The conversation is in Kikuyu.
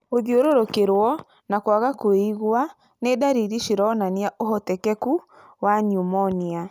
Gũthiũrũrũkĩrũo na kwaga kwĩigua nĩ ndariri cironania ũhotekeku wa pneumonia.